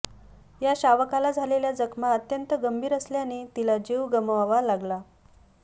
या शावकाला झालेल्या जखमा अत्यंत गंभीर असल्याने तिला जीव गमवावा लागला